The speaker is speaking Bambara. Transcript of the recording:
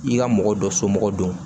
I ka mɔgɔ dɔ somɔgɔ don